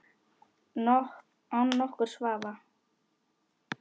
Án nokkurs vafa.